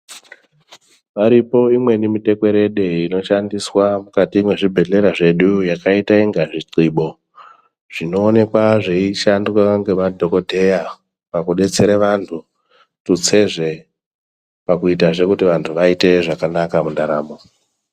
Varipo imweni mitekwerede inoshandiswa mukati mwezvibhehlera zvedu yakaita inga zvithibo zvinoonekwa zveishandwa ngemadhokodheya pakudetsere vantu tutsezve pakuitazve kuti vantu vaite zvakanaka mundaramo.